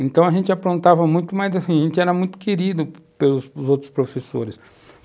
Então a gente aprontava muito, mas a gente era muito querido pelos outros professores.